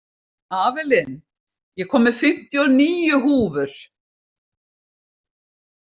Avelin, ég kom með fimmtíu og níu húfur!